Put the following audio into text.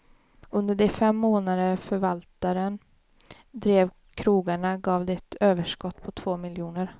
Under de fem månader förvaltaren drev krogarna gav de ett överskott på två miljoner.